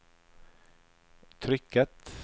trykket